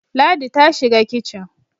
Ladi ta shiga kicin.